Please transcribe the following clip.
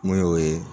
Mun y'o ye